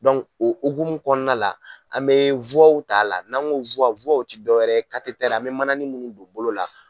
o hukumu kɔnɔna la, an bɛ t'a la n'a ko tɛ dɔ wɛrɛ an bɛ mana ni minnu don bolo la